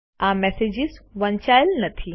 આ મેસેજીસ વંચાયેલ નથી